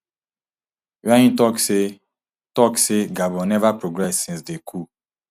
wia im tok say tok say gabon neva progress since di coup